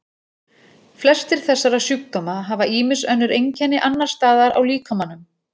Flestir þessara sjúkdóma hafa ýmis önnur einkenni annars staðar á líkamanum.